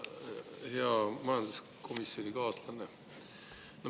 Hea majanduskomisjonikaaslane!